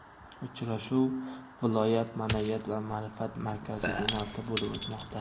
Uchrashuv viloyat Maʼnaviyat va maʼrifat markazi binosida bo‘lib o‘tmoqda.